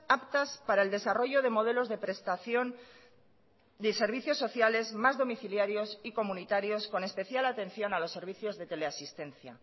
aptas para el desarrollo de modelos de prestación de servicios sociales más domiciliarios y comunitarios con especial atención a los servicios de teleasistencia